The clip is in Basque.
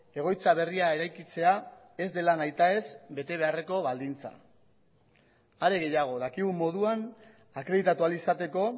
egoitza berria eraikitzea ez dela nahitaez bete beharreko baldintza are gehiago dakigun moduan akreditatu ahal izateko